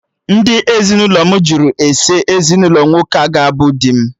Ndị ezinụlọ m jụrụ ese ezinụlọ nwoke ga abụ di m